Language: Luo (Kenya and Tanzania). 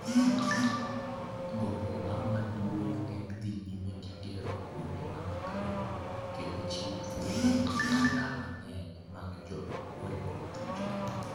Gombowa maduong' en dhi nyime gi gero kuondewa mag romo kendo chiwo thuolo ne tara mang'eny mag joma oringo thuchegi.